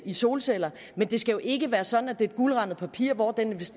i solceller men det skal ikke være sådan at det bliver et guldrandet papir hvor den